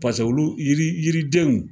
Paseke olu yiri yiridenw.